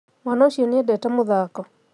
Mwana ũcio nĩendete mũthako